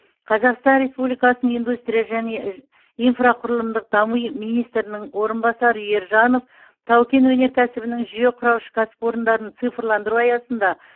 қазақстан республикасының индустрия және инфрақұрылымдық дами министрінің орынбасары ержанов тау кен өнеркәсібінің жүйе құраушы кәсіпорындарын цифрландыру аясында